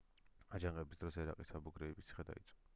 აჯანყების დროს ერაყის აბუ გრეიბის ციხე დაიწვა